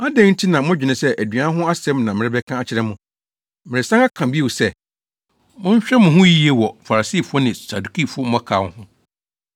Adɛn nti na modwene sɛ aduan ho asɛm na mereka akyerɛ mo? Meresan aka bio sɛ, ‘Monhwɛ mo ho yiye wɔ Farisifo ne Sadukifo mmɔkaw ho.’ ”